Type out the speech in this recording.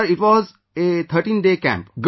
Sir, it was was a 13day camp